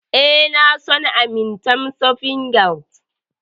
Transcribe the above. E, na san Amatem soft gel.